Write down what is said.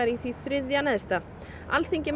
í því þriðja neðsta Alþingi